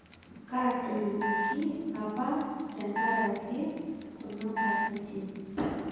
Katoiwuoki apa tenkaraki kuna katitin